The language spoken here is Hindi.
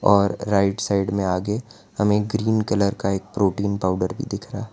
और राइट साइड में आगे हमें ग्रीन कलर का एक प्रोटीन पाउडर भी दिख रहा --